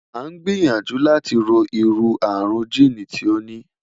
a n gbiyanju lati ro iru arun jiini ti o ni